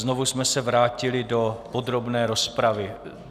Znovu jsme se vrátili do podrobné rozpravy.